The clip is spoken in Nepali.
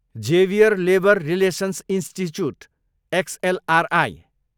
Xavier Labour Relations Institute, XLRI